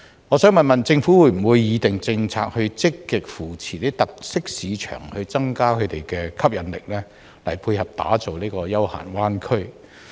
我想問政府會否擬訂政策，積極扶持一些特色市場，以增加它們的吸引力，並配合打造成休閒灣區的規劃？